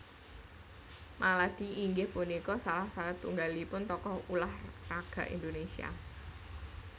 Maladi inggih punika salah satunggalipun tokoh ulah raga Indonésia